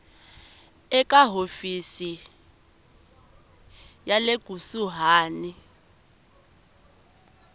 eka hofisi ya le kusuhani